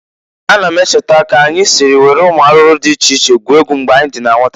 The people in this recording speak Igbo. Ana m echeta k'anyị si were ụmụ arụrụ dị iche iche gwuo egwu mgbe anyị dị na nwata.